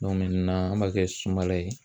an b'a kɛ sumala ye.